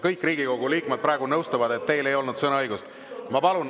Kõik Riigikogu liikmed praegu nõustuvad, et teil ei olnud sõnaõigust.